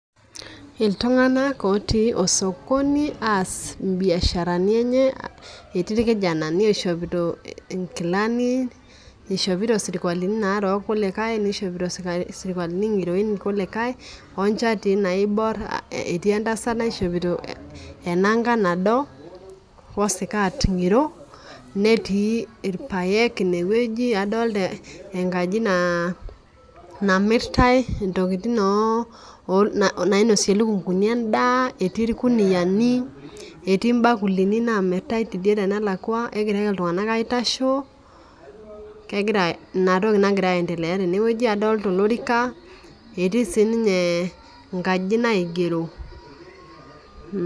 Iltung'ana otii oo sokoni aas ii biasharani enye. Etii irkijanani oishopita inkilani, ishopito irsikuakini narok wolikae loishiopito irsukualini ng'iroin irkulikae , onchatin naibor. Etii entasat naishopito ena nkae nado woo sikat ng'iro. Neetuipaek ineweji adolita enkaji namirtai intokitin, intokitin nainosie ilukunguni edaa, etii irkuniani etii irbakulini naa miritae tidie naluaka, negira iltung'ana aitasho. Ina toki nagira ai endelea teneweji. Adolita olorika. Etii sii ninye inkajijik naigero.